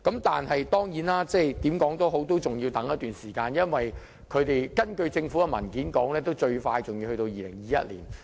但是，無論如何，還要等待一段時間，因為根據政府的文件，最快要在2021年才能實行。